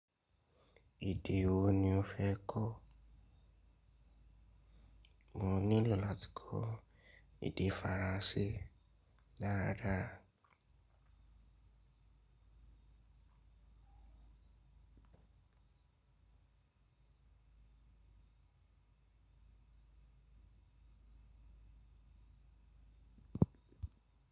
Èdè wo ni o fẹ́ kọ́? Mo nílò láti kọ́ èdè Faransé dáradára.